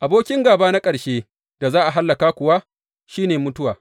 Abokin gāba na ƙarshen da za a hallaka kuwa, shi ne mutuwa.